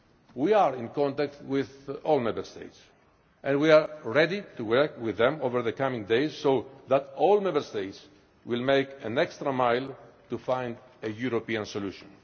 We are in contact with all Member States and we are ready to work with them over the coming days so that all Member States will go the extra mile to find a European solution.